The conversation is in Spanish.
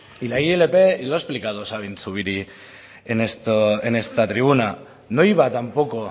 y la ilp lo ha explicado sabin zubiri en esta tribuna no iba tampoco